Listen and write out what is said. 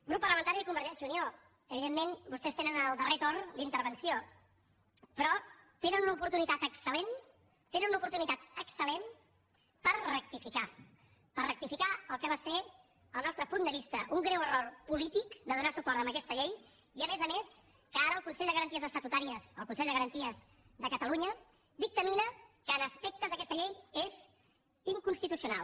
grup parlamentari de convergència i unió evidentment vostès tenen el darrer torn d’intervenció però tenen l’oportunitat excel·lent tenen una oportunitat excel·lent per rectificar per rectificar el que va ser al nostre punt de vista un greu error polític de donar suport a aquesta llei i a més a més que ara el consell de garanties estatutàries el consell de garanties de catalunya dictamina que en aspectes aquesta llei és inconstitucional